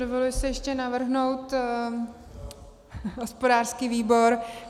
Dovoluji si ještě navrhnout hospodářský výbor.